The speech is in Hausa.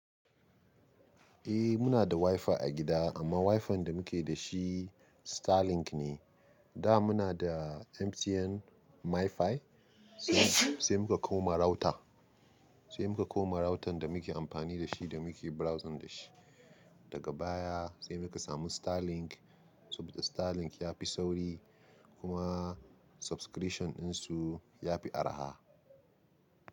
Eh, muna da WiFi a gida amma WiFi da muke da shi, Starlink ne. Da muna da MTN MiFi, sai muka koma router, sai muka koma router da muke amfani da shi da muke browsing da shi. Daga baya, sai muka samu Starlink, saboda Starlink ya fi sauri kuma, subscription ɗin su, ya fi araha.